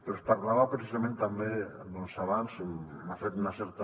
però es parlava precisament també abans m’ha fet una certa